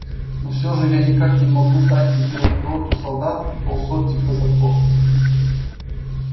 но всё же я никак не могу дать тебе роту солдат и полсотни казаков